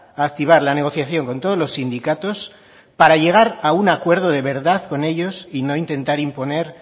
activar la negociación con todos los sindicatos para llegar a un acuerdo de verdad con ellos y no intentar imponer